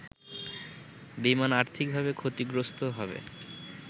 বিমান আর্থিকভাবে ক্ষতিগ্রস্ত হবে